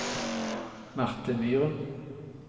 Marthe Myren